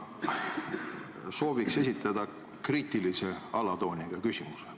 Ma sooviksin esitada kriitilise alatooniga küsimuse.